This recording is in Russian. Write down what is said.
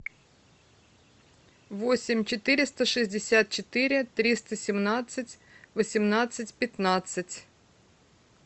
восемь четыреста шестьдесят четыре триста семнадцать восемнадцать пятнадцать